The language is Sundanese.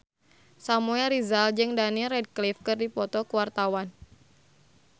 Samuel Rizal jeung Daniel Radcliffe keur dipoto ku wartawan